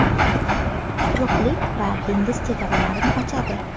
quruqlik va dengiz chegaralarini ochadi.